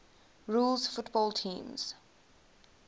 rules football teams